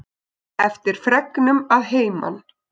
Eftir fregnum að heiman.